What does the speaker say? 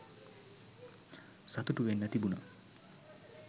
සතුටු වෙන්න තිබුණා